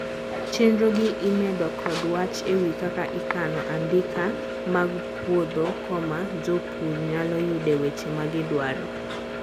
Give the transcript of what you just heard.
chenro gi imedo kod wach ewi kaka ikano andika mag puodho koma jopur nyalo yude weche magidwaro